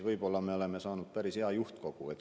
Võib-olla me siis saame päris hea juhtkogu.